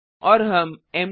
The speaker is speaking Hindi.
और हम मद